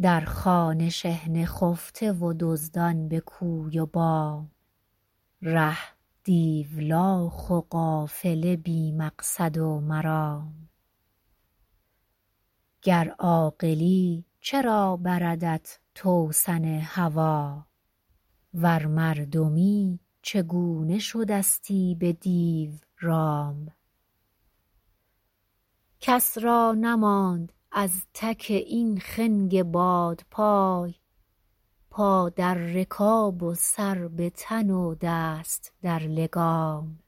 در خانه شحنه خفته و دزدان به کوی و بام ره دیولاخ و قافله بی مقصد و مرام گر عاقلی چرا بردت توسن هوی ور مردمی چگونه شده ستی به دیو رام کس را نماند از تک این خنگ بادپای پا در رکاب و سر به تن و دست در لگام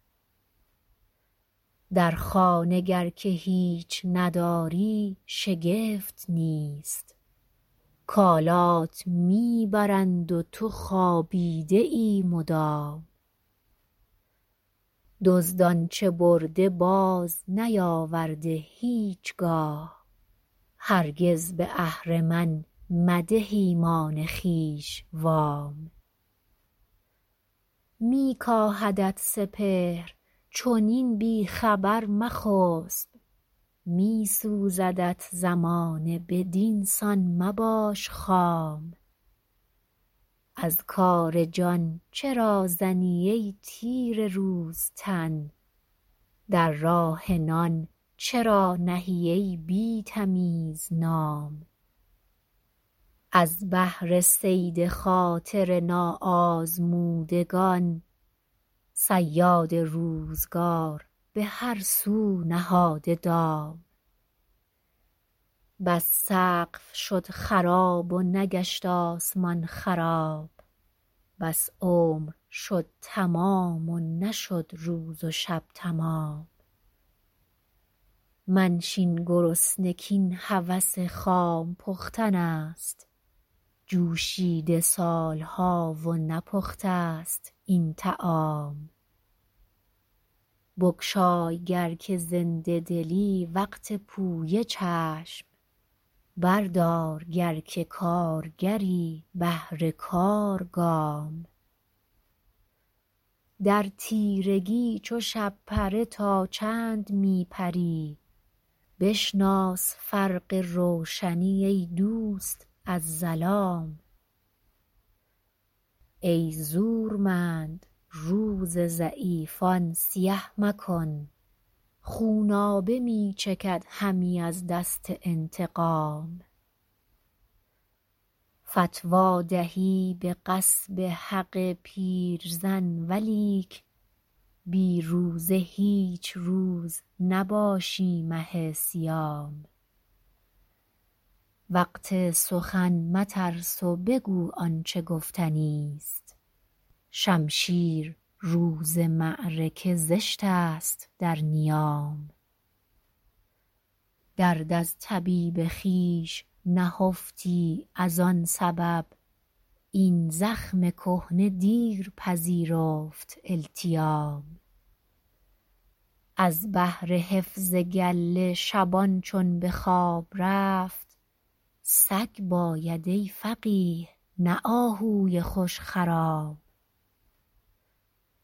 در خانه گر که هیچ نداری شگفت نیست کالات میبرند و تو خوابیده ای مدام دزد آنچه برده باز نیاورده هیچگاه هرگز به اهرمن مده ایمان خویش وام میکاهدت سپهر چنین بی خبر مخسب میسوزدت زمانه بدینسان مباش خام از کار جان چرا زنی ای تیره روز تن در راه نان چرا نهی ای بی تمیز نام از بهر صید خاطر ناآزمودگان صیاد روزگار به هر سو نهاده دام بس سقف شد خراب و نگشت آسمان خراب بس عمر شد تمام و نشد روز و شب تمام منشین گرسنه کاین هوس خام پختن است جوشیده سالها و نپخته ست این طعام بگشای گر که زنده دلی وقت پویه چشم بردار گر که کارگری بهر کار گام در تیرگی چو شب پره تا چند می پری بشناس فرق روشنی ای دوست از ظلام ای زورمند روز ضعیفان سیه مکن خونابه می چکد همی از دست انتقام فتوی دهی به غصب حق پیرزن ولیک بی روزه هیچ روز نباشی مه صیام وقت سخن مترس و بگو آنچه گفتنی است شمشیر روز معرکه زشت است در نیام درد از طبیب خویش نهفتی از آن سبب این زخم کهنه دیر پذیرفت التیام از بهر حفظ گله شبان چون به خواب رفت سگ باید ای فقیه نه آهوی خوشخرام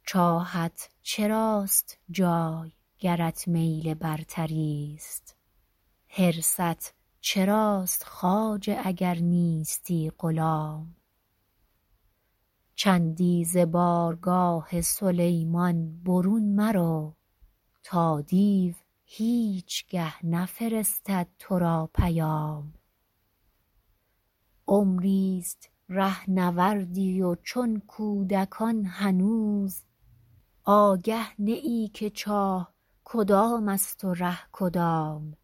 چاهت چراست جای گرت میل برتریست حرصت چراست خواجه اگر نیستی غلام چندی ز بارگاه سلیمان برون مرو تا دیو هیچگه نفرستد تو را پیام عمریست رهنوردی و چون کودکان هنوز آگه نه ای که چاه کدام است و ره کدام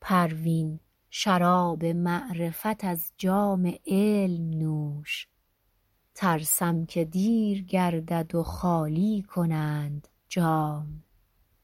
پروین شراب معرفت از جام علم نوش ترسم که دیر گردد و خالی کنند جام